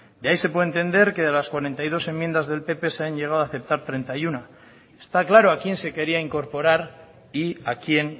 de ahí se puede entender que de las cuarenta y dos enmiendas del pp se han llegado a aceptar treinta y uno está claro a quién se quería incorporar y a quién